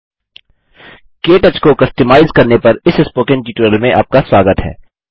के टच को कस्टमाइज अपनी इच्छा के अनुसार बनाना करने पर इस स्पोकन ट्यूटोरियल में आपका स्वागत है